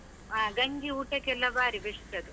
ಆ ಗಂಜಿ ಊಟಕ್ಕೆಲ್ಲ ಬಾರಿ best ಅದು.